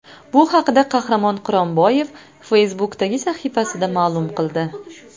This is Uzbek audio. Bu haqda Qahramon Quronboyev Facebook’dagi sahifasida ma’lum qildi .